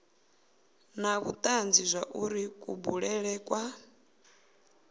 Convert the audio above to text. na vhutanzi zwauri kubulele kwa